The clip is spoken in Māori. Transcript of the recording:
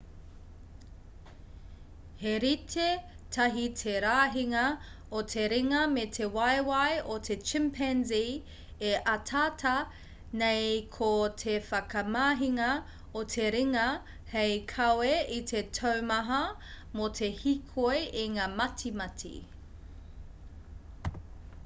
he rite tahi te rahinga o te ringa me te waewae o te chimpanzee e ataata nei ko te whakamahinga o te ringa hei kawe i te taumaha mō te hīkoi i ngā matimati